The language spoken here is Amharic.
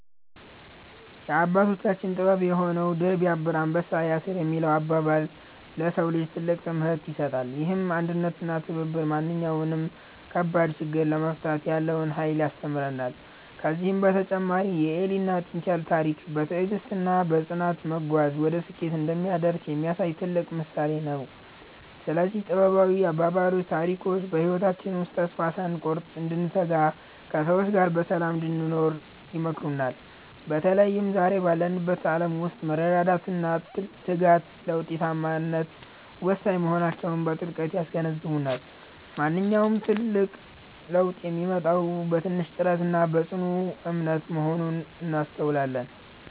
የአባቶቻችን ጥበብ የሆነው "ድር ቢያብር አንበሳ ያስር" የሚለው አባባል፣ ለሰው ልጅ ትልቅ ትምህርት ይሰጣል። ይህም አንድነትና ትብብር ማንኛውንም ከባድ ችግር ለመፍታት ያለውን ኃይል ያስተምረናል። ከዚህም በተጨማሪ የኤሊና የጥንቸል ታሪክ፣ በትዕግስትና በጽናት መጓዝ ወደ ስኬት እንደሚያደርስ የሚያሳይ ትልቅ ምሳሌ ነው። እነዚህ ጥበባዊ አባባሎችና ታሪኮች በህይወታችን ውስጥ ተስፋ ሳንቆርጥ እንድንተጋና ከሰዎች ጋር በሰላም እንድንኖር ይመክሩናል። በተለይም ዛሬ ባለንበት ዓለም ውስጥ መረዳዳትና ትጋት ለውጤታማነት ወሳኝ መሆናቸውን በጥልቀት ያስገነዝቡናል። ማንኛውም ትልቅ ለውጥ የሚመጣው በትንሽ ጥረትና በጽኑ እምነት መሆኑን እናስተውላለን።